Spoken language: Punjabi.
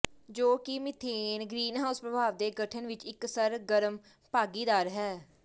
ਜੋ ਕਿ ਮਿਥੇਨ ਗ੍ਰੀਨਹਾਉਸ ਪ੍ਰਭਾਵ ਦੇ ਗਠਨ ਵਿਚ ਇੱਕ ਸਰਗਰਮ ਭਾਗੀਦਾਰ ਹੈ